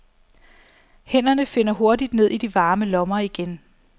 Hænderne finder hurtigt ned i de varme lommer igen.